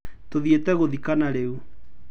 Tũthiete gũthikana rĩu.